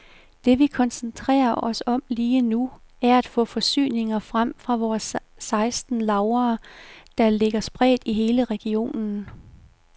Det vi koncentrerer os om lige nu, er at få forsyninger frem fra vores seksten lagre, der ligger spredt i hele regionen.